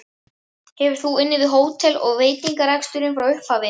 Hefur þú unnið við hótel- og veitingareksturinn frá upphafi?